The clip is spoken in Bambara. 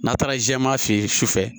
N'a taara jɛman fɛ ye sufɛ